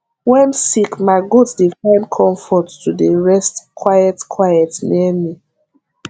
wen sick ma goat dey find comfort to dey rest quiet quiet near me